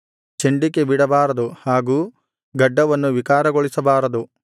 ಚಂಡಿಕೆ ಬಿಡಬಾರದು ಹಾಗೂ ಗಡ್ಡವನ್ನು ವಿಕಾರಗೊಳಿಸಬಾರದು